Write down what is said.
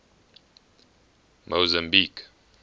mozambique